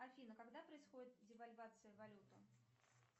афина когда происходит девальвация валюты